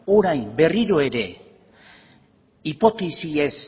orain berriro ere hipotesiez